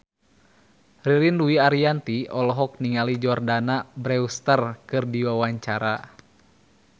Ririn Dwi Ariyanti olohok ningali Jordana Brewster keur diwawancara